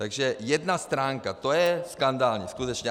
Takže jedna stránka, to je skandální, skutečně.